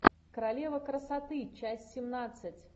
королева красоты часть семнадцать